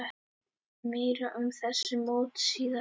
Meira um þessi mót síðar.